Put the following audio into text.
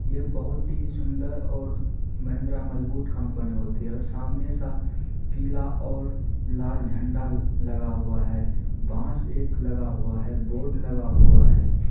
यह बहुत ही सुन्दर और महिंद्रा मजबूत कंपनी होती है सामने सा पीला और लाल झंडा लगा हुआ है बांस एक लगा हुआ है बोर्ड लगा हुआ है।